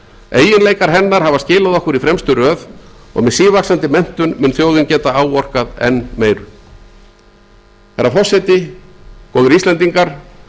eiginleikar hennar hafa skilað okkur í fremstu röð og með sívaxandi menntun mun þjóðin geta áorkað enn meiru herra forseti góðir íslendingar